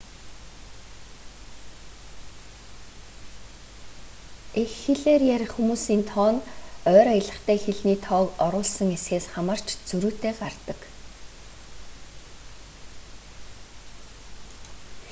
эх хэлээр ярих хүмүүсийн тоо нь ойр аялагтай хэлний тоог оруулсан эсхээс хамаарч зөрүүтэй гардаг